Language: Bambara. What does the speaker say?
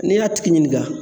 N'i y'a tigi ɲininga